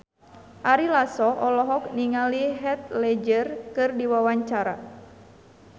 Ari Lasso olohok ningali Heath Ledger keur diwawancara